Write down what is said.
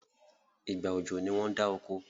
ìgbà ọjọ ní wón dá okò.